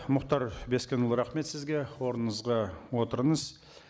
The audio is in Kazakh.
мұхтар бескенұлы рахмет сізге орныңызға отырыңыз